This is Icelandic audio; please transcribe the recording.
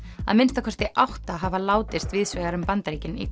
að minnsta kosti átta hafa látist víðsvegar um Bandaríkin í